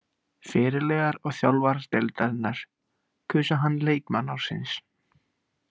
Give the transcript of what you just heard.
Fyrirliðar og þjálfarar deildarinnar kusu hann leikmann ársins.